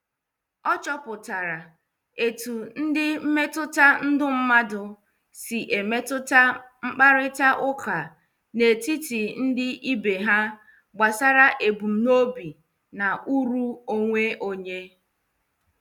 Ọ chọpụtara etu ndị mmetụta ndụ mmadụ si emetụta mkparita ụka n'etiti ndị ibe ha gbasara ebumnobi na uru onwe onye.